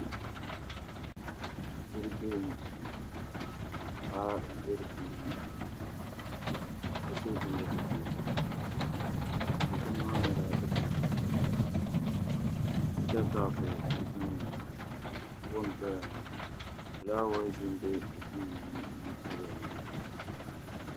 Dibu duu n boŋo ka paɣa ʒɛ dinni ka so jinjɛm ʒiɛ dikpuni maa nyɛla dikpuni piɛlli hita kaap n tamya ŋo foon n paya ŋo fulaawaasi n bɛ bunni n tamya ŋo